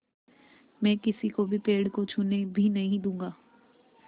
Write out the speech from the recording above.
मैं किसी को भी पेड़ को छूने भी नहीं दूँगा